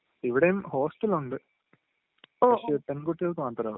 ഇവിടേം ഹോസ്ടലുണ്ട്, പക്ഷേ പെൺകുട്ടികൾക്ക് മാത്രേ ഉള്ളൂ...